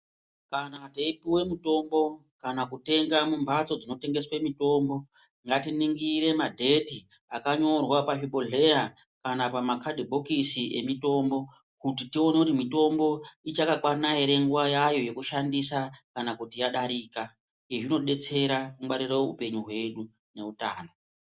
Kana teipuwe mutombo kana kutenga mumbatso dzinotengeswe mutombo ngatiningore madheti akanyorwa pazvibhebhodhlera kana pamakadhibhokisi nemitombo kuti tione kuti mitombo ichakakwana ere nguwa yayo yekushandisa kana kuti yadarika izvi zvinodetsera kungwarire upenyu hwedu neutano.